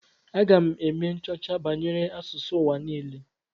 Aga m eme nchọcha banyere asụsụ ụwa niile.